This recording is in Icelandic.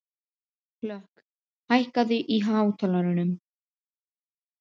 Hlökk, hækkaðu í hátalaranum.